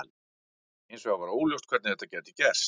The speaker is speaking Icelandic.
Hins vegar var óljóst hvernig þetta gæti gerst.